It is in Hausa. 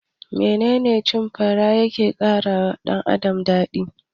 Menene cin fara yake karawa dan Adam?